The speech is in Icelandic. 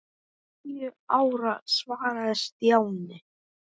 Níu ára svaraði Stjáni.